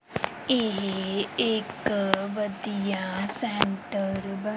ਇਹ ਇੱਕ ਵਧੀਆ ਸੈਂਟਰ ਬਣ--